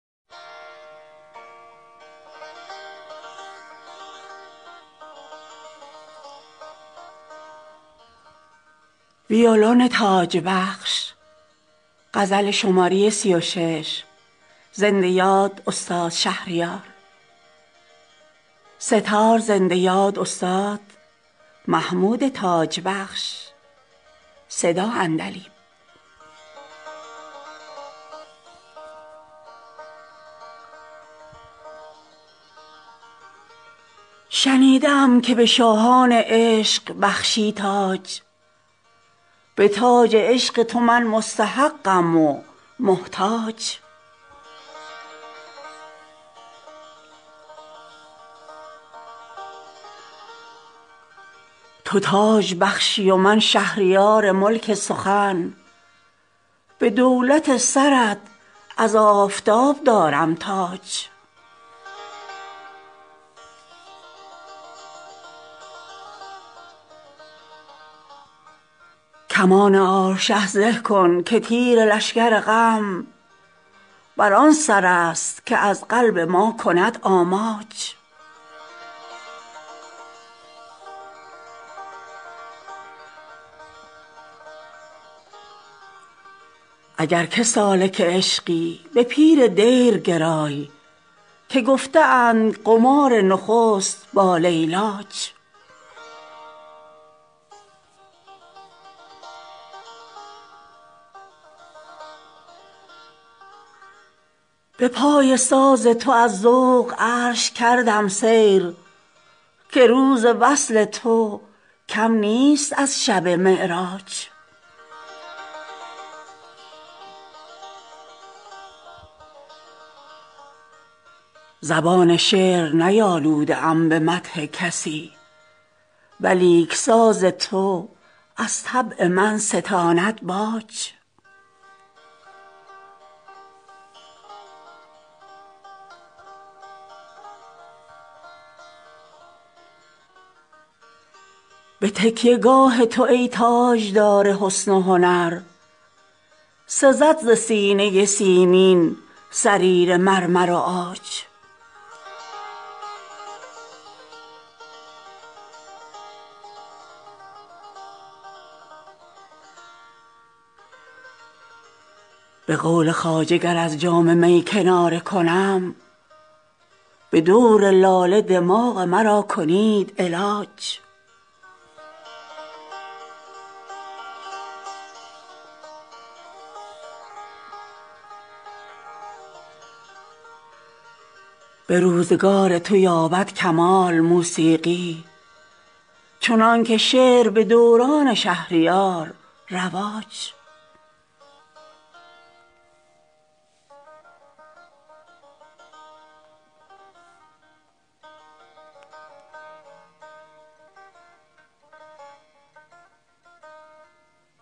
شنیده ام که به شاهان عشق بخشی تاج به تاج عشق تو من مستحقم و محتاج تو تاج بخشی و من شهریار ملک سخن به دولت سرت از آفتاب دارم تاج کمان آرشه زه کن که تیر لشگر غم بر آن سر است که از قلب ما کند آماج اگر که سالک عشقی به پیر دیر گرای که گفته اند قمار نخست با لیلاج به پای ساز تو از ذوق عرش کردم سیر که روز وصل تو کم نیست از شب معراج به میهمانی خوان شکر بخوان طوطی که قند حیف بود کز مگس شود تاراج زبان شعر نیالوده ام به مدح کسی ولیک ساز تو از طبع من ستاند باج ز آرشه و ویولن چوب و تخته در کار است مگر که خانه ایمن من کنند حراج به تکیه گاه تو ای تاجدار حسن و هنر سزد ز سینه سیمین سریر مرمر و عاج به قول خواجه گر از جام می کناره کنم به دور لاله دماغ مرا کنید علاج به روزگار تو یابد کمال موسیقی چنانکه شعر به دوران شهریار رواج